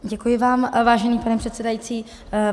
Děkuji vám, vážený pane předsedající.